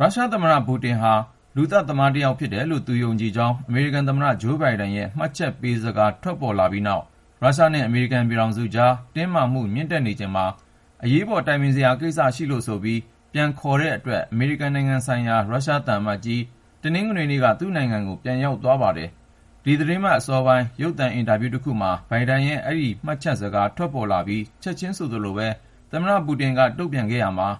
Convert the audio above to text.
ရုရှားသမ္မတ Vladimir Putin ဟာ လူသတ်သမား တယောက်ဖြစ်တယ်လို့ သူယုံကြည်ကြောင်း အမေရိကန်သမ္မတ ဂျိုးဘိုင်ဒန်ရဲ့ မှတ်ချက်ပေးစကား ထွက်ပေါ်လာပြီးနောက် ရုရှားနဲ့ အမေရိကန်ပြည်ထောင်စုကြား တင်းမာမှု မြင့်တက်နေချိန်မှာ အရေးပေါ် တိုင်ပင်စရာရှိလို့ဆိုပြီး ပြန်ခေါ်တဲ့အတွက် အမေရိကန်နိုင်ငံဆိုင်ရာ ရုရှားသံအမတ်ကြီး တနင်္ဂနွေနေ့က သူ့နိုင်ငံကို ပြန်ရောက် သွားပါတယ်။ ဒီသီတင်းပတ်အစောပိုင်း ရုပ်သံအင်တာဗျူးတခုမှာ ဘိုင်ဒန်ရဲ့ အဲဒီမှတ်ချက်စကား ထွက်ပေါ်လာပြီး ချက်ချင်းဆိုသလိုပဲ သမ္မတပူတင်က တုန့်ပြန်ခဲ့ရာမှာ